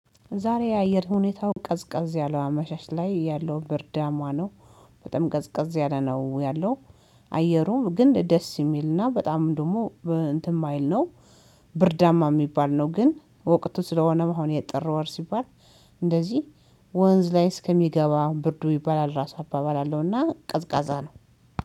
ዛሬ የአየር ሁኔታው ቀዝቀዝ ያለው አመሻሽ ላይ ያለው ብርዳማ ነው በጣም ቀዝቀዝ ያለ ነው ያለው። አየሩም ግን ደስ የሚልና በጣም ደግሞ እንትን ማይል ነው። ብርዳማ የሚባል ነው ግን ወቅቱ ስለሆነም አሁን የጥር ወር ሲባል። እንደዚህ ወንዝ ላይ እስከሚገባ ብርዱ ይባላል ራሱ አባባል አለውና ቀዝቃዛ ነው